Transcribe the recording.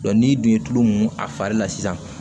n'i dun ye tulu mun a fari la sisan